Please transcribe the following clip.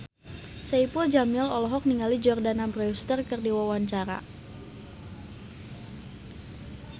Saipul Jamil olohok ningali Jordana Brewster keur diwawancara